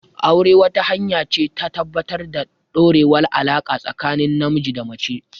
Aure, wata hanya ce ta tabbatar da ɗorewar alaƙa tsakanin namiji da mace.